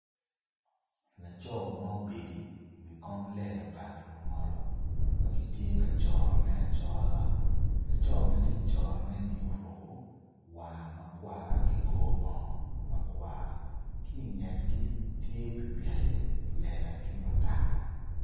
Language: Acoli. Laco ma obedi iwi kom lela pa lungolo ma ki tye ka corone acora laco ma ti icorone-ni oruku waa ma kwar ki kor bongo makwar ki ingetgi tye pikipiki lela ki kutaka